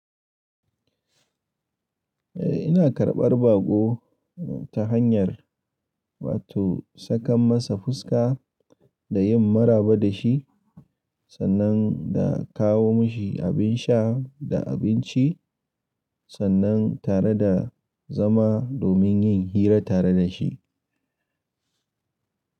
Eh ina karɓar baƙo ta hanyar wa to sakan masa fuska da yin maraba da shi sannan da kawo mishi abin sha da abinci sannan tare da zama domin yin hira tare da shi.